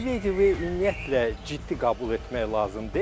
Medvedev ümumiyyətlə ciddi qəbul etmək lazım deyil.